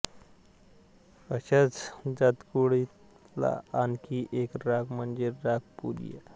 अशाच जातकुळीतला आणखी एक राग म्हणजे राग पुरिया